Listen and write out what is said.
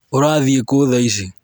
ũrathiĩ kũ thaa ici?